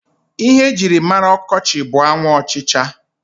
Ihe e jírí mara ọkọchị bụ anwụ ọchịcha.